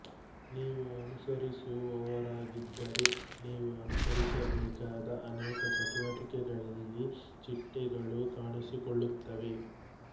ನೀವು ಅನುಸರಿಸುವವರಾಗಿದ್ದರೆ ನೀವು ಅನುಸರಿಸಬೇಕಾದ ಅನೇಕ ಚಟುವಟಿಕೆಗಳಲ್ಲಿ ಚಿಟ್ಟೆಗಳು ಕಾಣಿಸಿಕೊಳ್ಳುತ್ತವೆ